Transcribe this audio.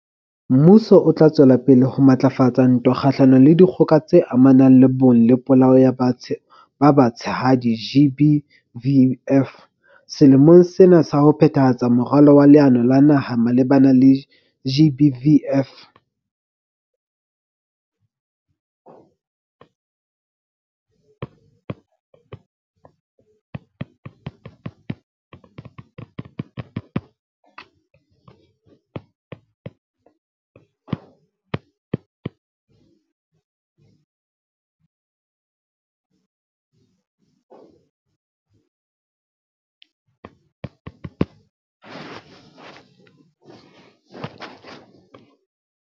Mmuso o tla tswela pele ho matlafatsa ntwa kgahlanong le Dikgoka tse Amanang le Bong le Polao ya ba Batshehadi, GBVF, selemong sena ka ho phethahatsa Moralo wa Leano la Naha le malebana le GBVF.